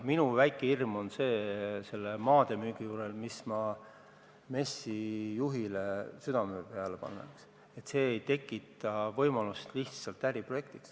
Minu väike hirm selle maade müügi juures on see ja ma panen seda MES-i juhile südamele, et see ei tekitaks võimalust lihtsalt äriprojektiks.